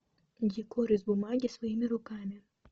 декор из бумаги своими руками